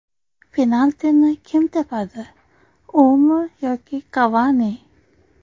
Penaltini kim tepadi: umi yoki Kavani?.